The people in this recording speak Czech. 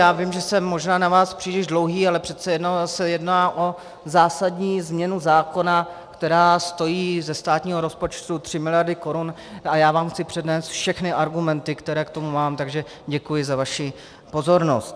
Já vím, že jsem možná na vás příliš dlouhý, ale přece jenom se jedná o zásadní změnu zákona, která stojí ze státního rozpočtu tři miliardy korun, a já vám chci přednést všechny argumenty, které k tomu mám, takže děkuji za vaši pozornost.